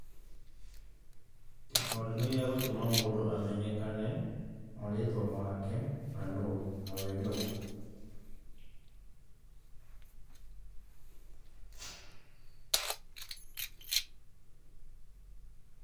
Gĩbandĩ nĩ gĩa gũtũma mũndũ amenyekane marĩtwa make, nawe nũ